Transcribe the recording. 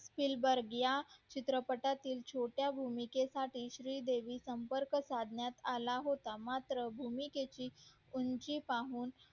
सिलंबर या चित्रपटातून छोट्या भूमिके साठी श्री देवी संपर्क साधण्यास आला होता मात्र भूमिकेतील उंची पाहून